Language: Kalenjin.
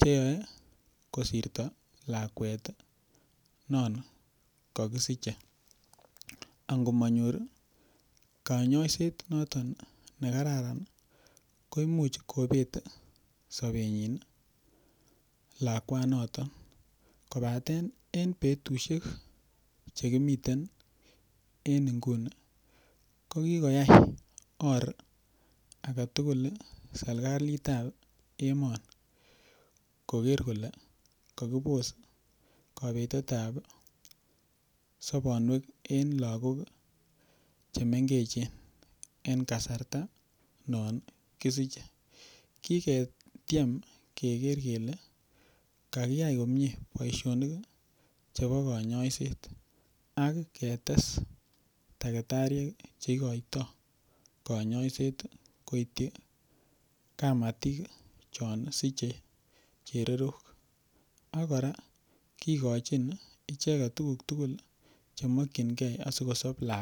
cheyoe kosirto lakwet non ko kisiche angomonyor kanyoiset noton nekararan ii ko imuch kobet sobenyin ii lakwanoton kobaten en betusiek chekimiten ko kikoyai oor agetugul serikalitab emoni koker kole kokibos kobetetab sobonwekab en lagok chemengechen en kasarta non kisiche kiketyem keker kele kakiyai komie boisionik chebo konyoiset aketes daktariek cheikoito konyoiset koityi kamatik chon siche chererok akora kikochin icheket tuguk tugul chemoyingee asikosob lakwet .